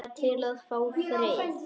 Bara til að fá frið.